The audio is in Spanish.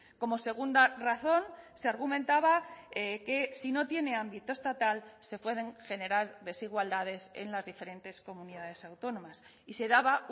como segunda razón se argumentaba que si no tiene ámbito estatal se pueden generar desigualdades en las diferentes comunidades autónomas y se daba